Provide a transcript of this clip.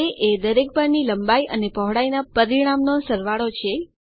એ એ દરેક બાર ની લંબાઈ અને પહોળાઈ ના પરિણામનો સરવાળો છે